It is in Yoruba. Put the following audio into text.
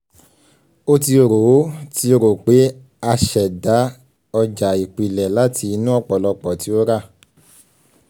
o ti ro o ti ro pe a ṣẹda ọja ipilẹ lati inu ọpọlọpọ ti o ra